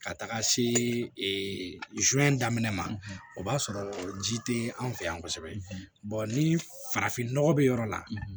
Ka taga se daminɛ ma o b'a sɔrɔ ji tɛ an fɛ yan kosɛbɛ ni farafin nɔgɔ bɛ yɔrɔ la